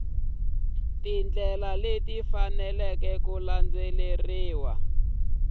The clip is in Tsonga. tindlela leti faneleke ku landzeriwa